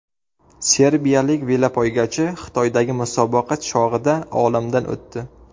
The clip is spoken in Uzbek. Serbiyalik velopoygachi Xitoydagi musobaqa chog‘ida olamdan o‘tdi.